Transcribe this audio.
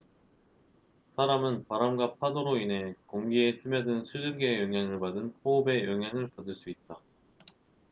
사람은 바람과 파도로 인해 공기에 스며든 수증기의 영향을 받은 호흡의 영향을 받을 수 있다